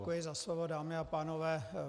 Děkuji za slovo, dámy a pánové.